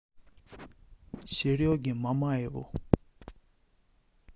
сереге мамаеву